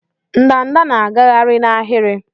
ndanda na-agagharị n'ahịrị.